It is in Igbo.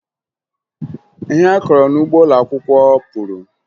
Ihe anyị kọrọ n'ugbo ụlọakwụkwọ puru